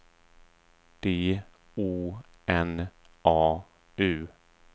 D O N A U